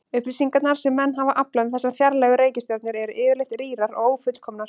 Upplýsingarnar sem menn hafa aflað um þessar fjarlægu reikistjörnur eru yfirleitt rýrar og ófullkomnar.